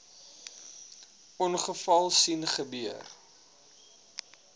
ongeval sien gebeur